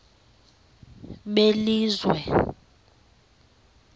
belizwe